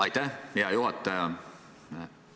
Aitäh, hea juhataja!